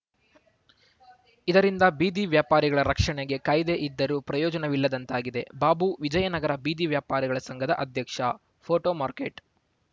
ಇದರಿಂದ ಬೀದಿ ವ್ಯಾಪಾರಿಗಳ ರಕ್ಷಣೆಗೆ ಕಾಯ್ದೆ ಇದ್ದರೂ ಪ್ರಯೋಜನವಿಲ್ಲದಂತಾಗಿದೆ ಬಾಬು ವಿಜಯನಗರ ಬೀದಿ ವ್ಯಾಪಾರಿಗಳ ಸಂಘದ ಅಧ್ಯಕ್ಷ ಫೋಟೋ ಮಾರ್ಕೆಟ್‌